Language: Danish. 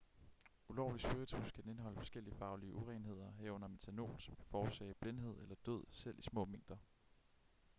ulovlig spiritus kan indeholde forskellige farlige urenheder herunder methanol som kan forårsage blindhed eller død selv i små mængder